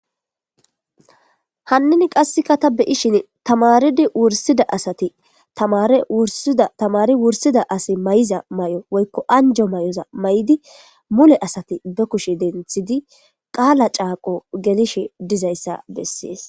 Hanininqasek ata be'ishn tamarid wursida asati tamare wursida asiy mayiza mayoza woyko anjo mayoza mayid mule asati be kushe denthid qala caaqi gelishe dizaysa beses